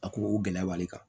A ko o gɛlɛya b'ale kan